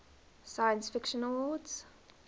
science fiction awards